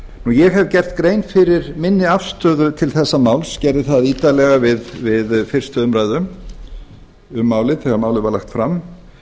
ég hef gert grein fyrir minni afstöðu til þessa máls gerði það ítarlega við fyrstu umræðu um málið þegar málið var lagt fram